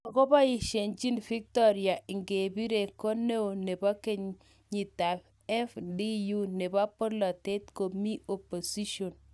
Makoboisiechin Victoire Ingabire ko neoo nebo kotuiyetab FDU nebo bolotet komi opposition